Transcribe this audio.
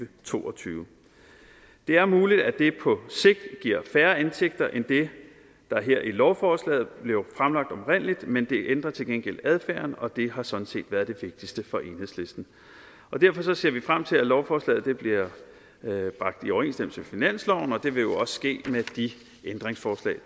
to og tyve det er muligt at det på sigt giver færre indtægter end det der her i lovforslaget oprindeligt blev fremlagt men det ændrer til gengæld adfærden og det har sådan set været det vigtigste for enhedslisten derfor ser vi frem til at lovforslaget bliver bragt i overensstemmelse med finansloven og det vil jo også ske med de ændringsforslag